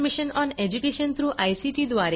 government of India अर्थसहाय्य मिळाले आहे